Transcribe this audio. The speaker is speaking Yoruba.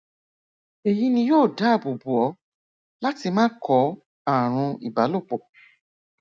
èyí ni yóò dáàbò bò ọ láti má kó ààrùn ibalopọ